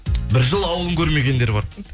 бір жыл ауылын көрмегендер бар